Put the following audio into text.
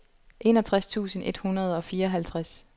enogtres tusind et hundrede og fireoghalvtreds